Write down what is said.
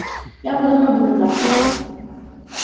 я подумаю об этом завтра